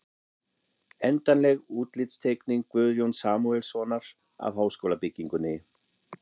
Endanleg útlitsteikning Guðjóns Samúelssonar af háskólabyggingunni.